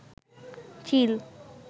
চিল